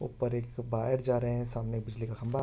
ऊपर एक वायर जा रहे है सामने एक बिजली का खम्बा --